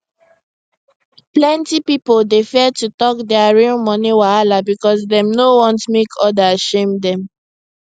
plenty pipo dey fear to talk dia real money wahala because dem no wan make others shame dem